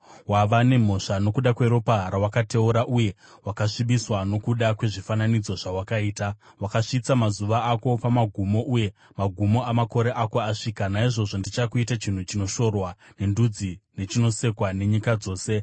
wava nemhosva nokuda kweropa rawakateura uye wakasvibiswa nokuda kwezvifananidzo zvawakaita. Wakasvitsa mazuva ako pamagumo, uye magumo amakore ako asvika. Naizvozvo ndichakuita chinhu chinoshorwa nendudzi nechinosekwa nenyika dzose.